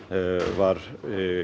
var